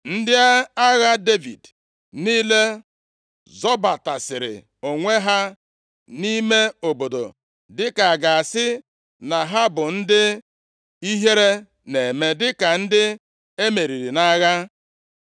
Ndị agha Devid niile zobatasịrị onwe ha nʼime obodo dịka a ga-asị na ha bụ ndị ihere na-eme dịka ndị e meriri nʼagha.